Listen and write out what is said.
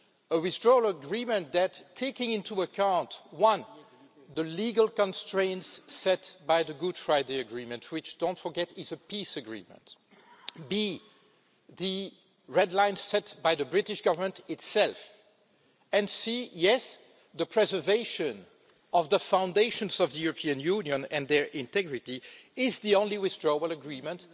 the Withdrawal Agreement taking into account, first, the legal constraints set by the Good Friday Agreement which, don't forget, is a peace agreement second, the red lines set by the British Government itself and, third, yes, the preservation of the foundations of the European Union and their integrity, is the only Withdrawal Agreement